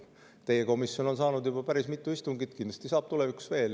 Teie komisjon on saanud juba päris mitu istungit, kindlasti saab tulevikus veel.